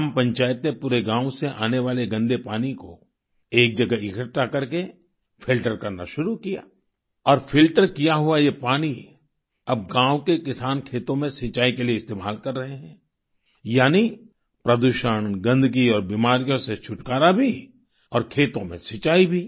ग्राम पंचायत ने पूरे गाँव से आने वाले गंदे पानी को एक जगह इकठ्ठा करके फिल्टर करना शुरू किया और फिल्टर किया हुआ ये पानी अब गाँव के किसान खेतों में सिंचाई के लिए इस्तेमाल कर रहे हैं यानी प्रदूषण गंदगी और बीमारियों से छुटकारा भी और खेतों में सिंचाई भी